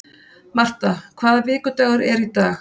Marta, hvaða vikudagur er í dag?